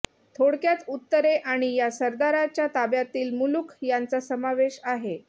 थोडक्यात उत्तरे आणि या सरदाराच्या ताब्यातील मुलुख यांचा समावेश आहे